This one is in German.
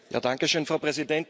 Frau Präsidentin!